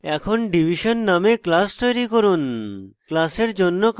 এখন division named class তৈরী করুন